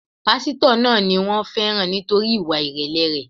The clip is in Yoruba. Pásítọ̀ náà ni wón féràn nítorí ìwà ìrèlè rẹ̀.